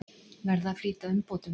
Verða að flýta umbótum